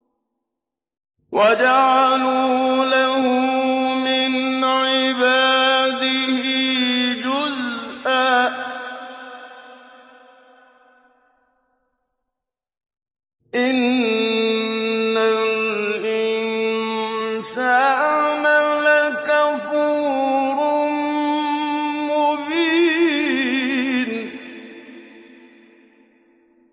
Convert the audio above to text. وَجَعَلُوا لَهُ مِنْ عِبَادِهِ جُزْءًا ۚ إِنَّ الْإِنسَانَ لَكَفُورٌ مُّبِينٌ